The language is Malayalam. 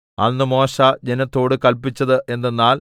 അന്ന് മോശെ ജനത്തോടു കല്പിച്ചത് എന്തെന്നാൽ